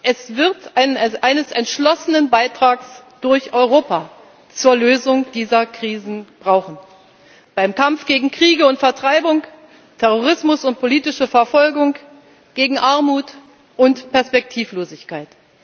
Es wird eines entschlossenen Beitrags durch Europa zur Lösung dieser Krisen bedürfen, beim Kampf gegen Kriege und Vertreibung, Terrorismus und politische Verfolgung, gegen Armut und Perspektivlosigkeit.